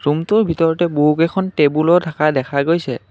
ৰূমটোৰ ভিতৰতে বহুকেইখন টেবুলো থাকা দেখা গৈছে।